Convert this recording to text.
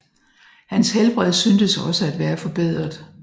Hans helbred syntes også at være forbedret